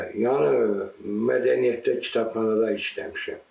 Yəni mədəniyyətdə, kitabxanada işləmişəm.